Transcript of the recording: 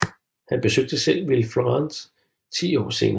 Han besøgte selv Villefranche ti år senere